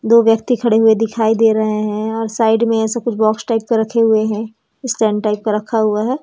दो व्यक्ति खड़े हुए दिखाई दे रहे हैं और साइड में ऐसा कुछ बॉक्स टाइप का रखे हुए हैं स्टैंड टाइप का रखा हुआ है।